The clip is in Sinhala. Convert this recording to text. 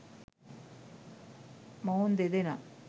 මොවුන් දෙදෙනා